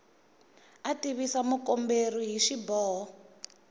a tivisa mukomberi hi xiboho